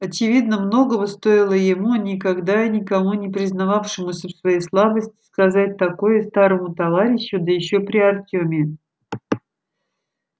очевидно многого стоило ему никогда и никому не признававшемуся в своей слабости сказать такое старому товарищу да ещё при артеме